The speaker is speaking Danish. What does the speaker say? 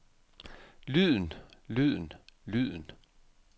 lyden lyden lyden